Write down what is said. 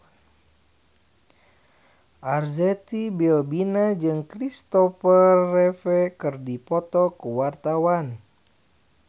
Arzetti Bilbina jeung Christopher Reeve keur dipoto ku wartawan